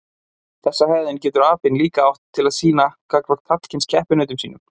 Þessa hegðun getur apinn líka átt til að sýna gagnvart karlkyns keppinautum sínum.